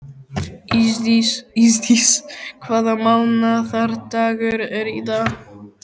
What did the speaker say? Ísdís, hvaða mánaðardagur er í dag?